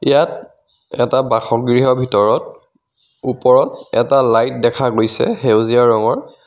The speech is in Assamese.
ইয়াত এটা বাসগৃহৰ ভিতৰত ওপৰত এটা লাইট দেখা গৈছে সেউজীয়া ৰঙৰ.